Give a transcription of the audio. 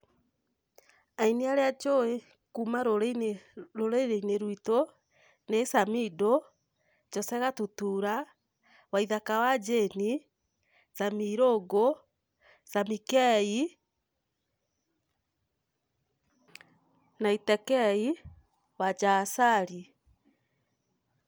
Aini arĩa njũĩ kuma rũrĩrĩ-inĩ rwitũ ni Samido, Jose Gatutura, Waithaka wa Jane, Sammie Irungu, Sammie K, Naite K, Wanja Asali.